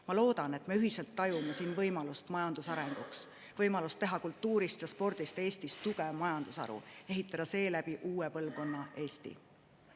Ma loodan, et me ühiselt tajume siin võimalust majanduse arenguks, võimalust teha kultuurist ja spordist Eestis tugev majandusharu ja ehitada seeläbi uue põlvkonna Eestit.